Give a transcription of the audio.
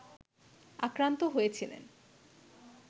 আক্রান্ত হয়েছিলেন